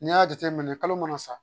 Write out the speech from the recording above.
N y'a jateminɛ kalo mana sa